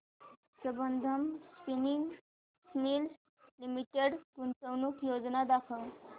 Sambandam spinning mills limited गुंतवणूक योजना दाखव